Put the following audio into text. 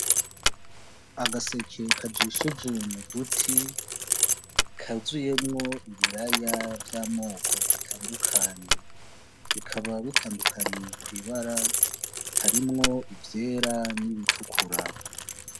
Agaseke kajishije mu duti kuzuyemwo ibiraya vy’amoko atandukanye bikaba bitandukaniye kw’ibara harimwo ivyera n’ibitukura .